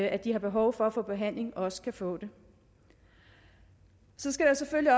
at de har behov for at få behandling også kan få det så skal der selvfølgelig